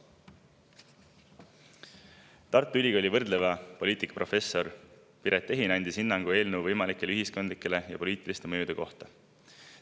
Tartu Ülikooli võrdleva poliitika professor Piret Ehin andis hinnangu eelnõu võimalike ühiskondlike ja poliitiliste mõjude kohta.